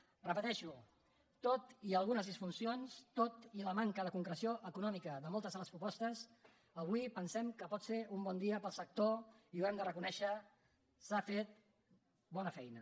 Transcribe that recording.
ho repeteixo tot i algunes disfuncions tot i la manca de concreció econòmica de moltes de les propostes avui pensem que pot ser un bon dia per al sector i ho hem de reconèixer s’ha fet bona feina